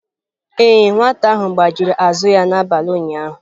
Ee, nwata ahụ gbajiri azụ ya n'abalị ụnyaahụ.